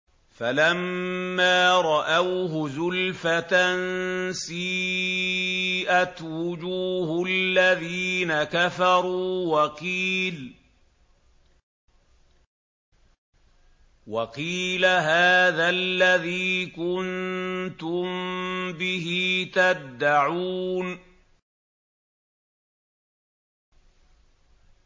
فَلَمَّا رَأَوْهُ زُلْفَةً سِيئَتْ وُجُوهُ الَّذِينَ كَفَرُوا وَقِيلَ هَٰذَا الَّذِي كُنتُم بِهِ تَدَّعُونَ